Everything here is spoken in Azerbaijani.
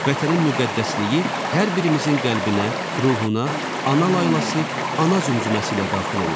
Vətənin müqəddəsliyi hər birimizin qəlbinə, ruhuna, ana laylası, ana zümzüməsi ilə daxil olur.